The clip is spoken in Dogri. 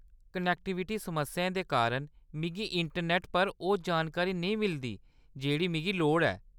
कनेक्टिविटी समस्याएं दे कारण मिगी इंटरनेट पर ओह्‌‌ जानकारी नेईं मिलदी जेह्‌दी मिगी लोड़ ऐ।